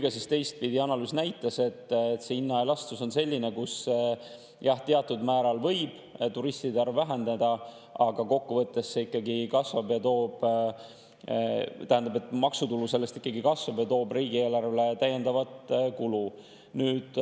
Ja teistpidi, analüüs näitas, et see hinnaelastsus on selline, kus teatud määral võib turistide arv väheneda, aga kokkuvõttes maksutulu sellest ikkagi kasvab ja see toob riigieelarvesse täiendavat.